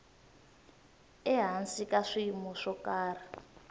ehansi ka swiyimo swo karhi